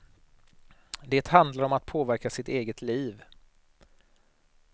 Det handlar om att påverka sitt eget liv.